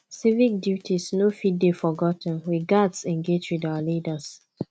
civic duties no fit dey forgot ten we gatz engage with our leaders